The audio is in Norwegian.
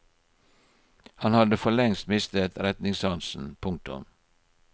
Han hadde for lengst mistet retningssansen. punktum